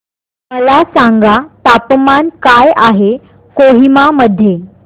मला सांगा तापमान काय आहे कोहिमा मध्ये